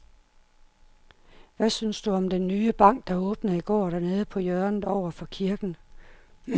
Hvad synes du om den nye bank, der åbnede i går dernede på hjørnet over for kirken?